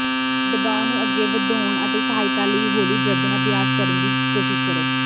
ਦਬਾਅ ਨੂੰ ਅੱਗੇ ਵਧਾਉਣ ਵਿੱਚ ਸਹਾਇਤਾ ਲਈ ਹੌਲੀ ਗਰਦਨ ਅਭਿਆਸ ਕਰਨ ਦੀ ਕੋਸ਼ਿਸ਼ ਕਰੋ